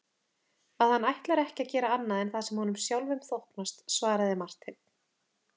Að hann ætlar ekki að gera annað en það sem honum sjálfum þóknast, svaraði Marteinn.